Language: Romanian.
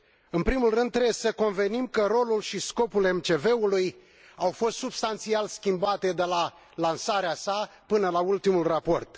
În primul rând, trebuie să convenim că rolul și scopul MCV ului au fost substanțial schimbate, de la lansarea sa până la ultimul raport.